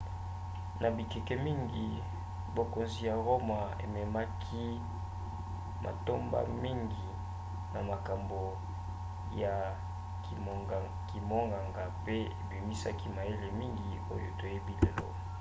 na bikeke mingi bokonzi ya roma ememaki matomba mingi na makambo ya kimonganga pe ebimisaki mayele mingi oyo toyebi lelo